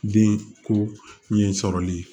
Den ko ɲɛ sɔrɔli